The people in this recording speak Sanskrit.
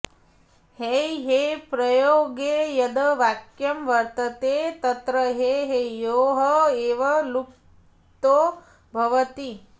हैहेप्रयोगे यद् वाक्यं वर्तते तत्र हैहयोः एव प्लुतो भवति